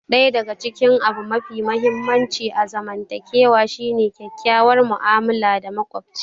Ɗaya daga cikin abu mafi muhimmanci a zamantakewa shine kyakkyawar mu'amala da makoci.